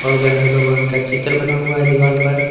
गणेश भगवान का चित्र बना हुआ है दीवाल पर।